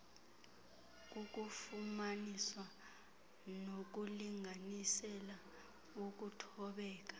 kukufumanisa nokulinganisela ukuthobeka